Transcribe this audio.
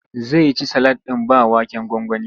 Zai ci salak ɗin ba waken gwangwani.